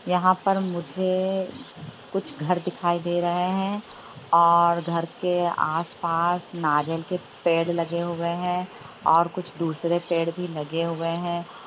यहा पर मुझे कुछ घर दिखाई दे रहे हैं और घर के आस-पास नारियल के पेड़ लगे हुए हैं और कुछ दुसरे पेड़ भी लगे हुए हैं।